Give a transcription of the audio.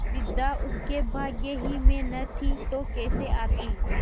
विद्या उसके भाग्य ही में न थी तो कैसे आती